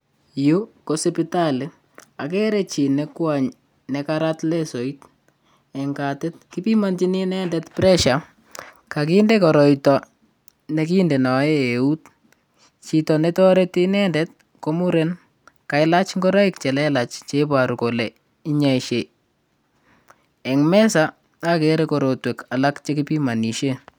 Yu ko supitali. Agere chi ne kwony negarat lesoit eng katit. kipimanchin inendet presia, kaginde koroito ne kindenaen eut. Chito ne toreti inendet ko muren, kailach ingoroik che lelach che ibaru kole inyaise. Eng mesa, agere korotwek alak che kipimanisien.